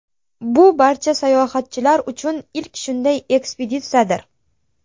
Bu barcha sayohatchilar uchun ilk shunday ekspeditsiyadir.